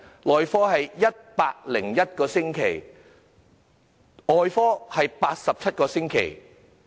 內科的輪候時間是101個星期；外科的是87個星期。